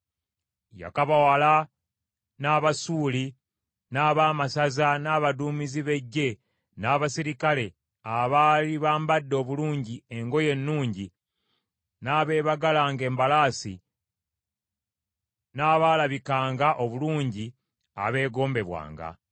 Yakabawala n’Abasuuli, n’abaamasaza n’abaduumizi b’eggye n’abaserikale abaali bambadde obulungi engoye ennungi n’abeebagalanga embalaasi n’abaalabikanga obulungi abeegombebwanga.